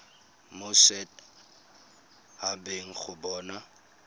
mo set habeng go bona